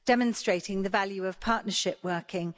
Demonstrating the value of partnership working.